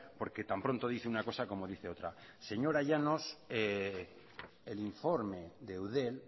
porque tan pronto dice una cosa como dice otra señora llanos el informe de eudel